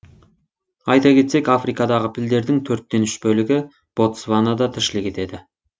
айта кетсек африкадағы пілдердің төрттен үш бөлігі ботсванада тіршілік етеді